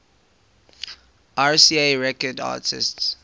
rca records artists